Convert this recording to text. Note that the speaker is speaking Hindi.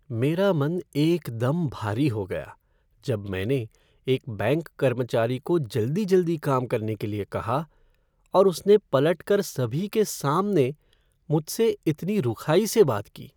मेरा मन एकदम भारी हो गया जब मैंने एक बैंक कर्मचारी को जल्दी जल्दी काम करने के लिए कहा, और उसने पलटकर सभी के सामने मुझे इतनी रुखाई से बात की।